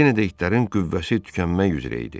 Yenə də itlərin qüvvəsi tükənmək üzrə idi.